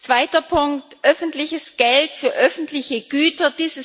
Zweiter Punkt öffentliches Geld für öffentliche Güter.